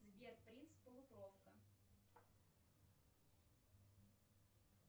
сбер принц полукровка